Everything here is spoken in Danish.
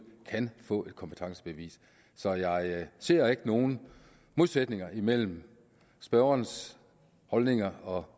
kan få et kompetencebevis så jeg ser ikke nogen modsætninger imellem spørgerens holdninger og